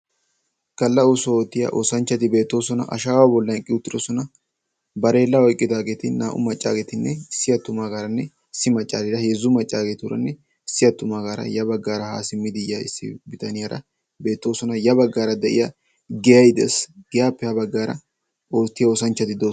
galla oosuwa oottiya oosanchcati beettoosona, ashshawa bolli eqqi uttidoosona. barellaa oyqqidaageti naa''u maccageeti issi maccaraaranne issi attumagaara heezzu maccageeturanne issi attumaagar ya baggaara ha simmidi yiyyaa issi bitaniyaara beettoosona, ya baggaara de'iyaa giyyay de'ees. giyyappe ha baggaara oottiya oosanchchati de'oosona.